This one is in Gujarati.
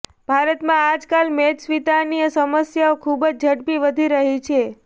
ભારતમાં આજકાલ મેદસ્વીતાની સમસ્યા ખૂબ જ ઝડપી વધી રહી છે